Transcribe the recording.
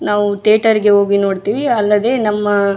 ನಾವು ಥಿಯೇಟರ್ಗೆ ಹೋಗಿ ನೋಡ್ತಿವಿ ಅಲ್ಲದೆ ನಮ್ಮ --